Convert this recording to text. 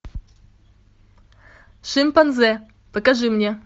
шимпанзе покажи мне